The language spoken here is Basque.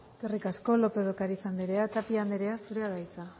eskerrik asko lópez de ocariz anderea tapia anderea zurea da hitza